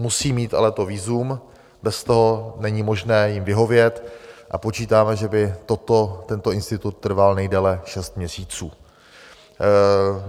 Musí mít ale to vízum, bez toho není možné jim vyhovět, a počítáme, že by tento institut trval nejdéle šest měsíců.